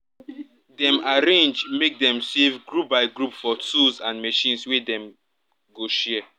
dem arrange make dem save group by group for tools and machines wey dem go share